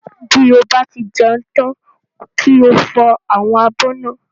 Bí o bá ti jẹun tán kí o fọ àwọn abọ́ náà